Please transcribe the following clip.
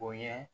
O ye